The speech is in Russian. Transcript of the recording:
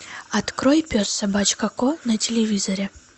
открой пес собачка кот на телевизоре